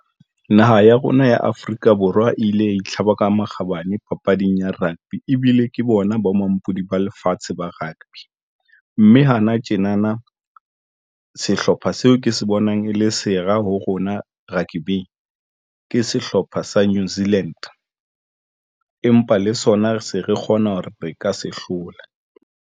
Naha ya rona ya Afrika Borwa e ile ya itlhaba ka makgabane papading ya rugby ebile ke bona bo mampodi ba lefatshe ba rugby mme hana tjena na sehlopha seo ke se bonang e le sera ho rona rugby ke sehlopha sa Newzealand empa le sona se re kgona hore re ka se hlola.